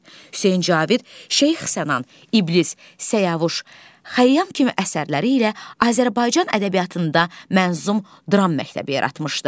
Hüseyn Cavid Şeyx Sənan, İblis, Səyavuş, Xəyyam kimi əsərləri ilə Azərbaycan ədəbiyyatında mənzum dram məktəbi yaratmışdı.